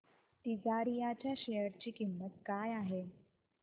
तिजारिया च्या शेअर ची किंमत काय आहे